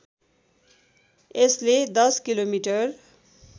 यसले १० किलोमिटर